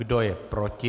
Kdo je proti?